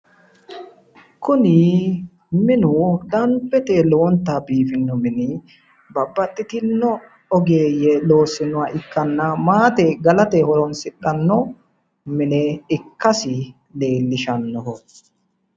Kuni minu danbete lowonta biifinoha mini babbaxxitino ogeeyye loossinoha ikkanna maate galate horonsidhanno mine ikkasi leellishanno